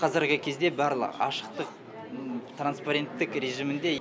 қазіргі кезде барлығы ашықтық транспаренттік режимінде